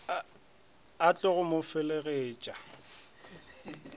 a tlogo go mo feleletša